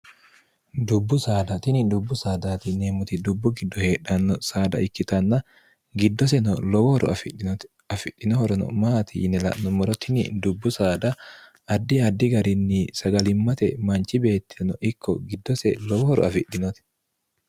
dubbu saada tini dubbu sadtmmt dubbu giddo heedhanno saada ikkitanna giddoseno lowohoro afidhinoti afidhinohorono maati yine la'nommora tini dubbu saada addi addi garinni sagalimmate manchi beettino ikko giddose lowohoro afidhinoti